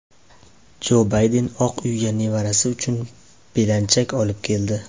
Jo Bayden Oq uyga nevarasi uchun belanchak olib keldi.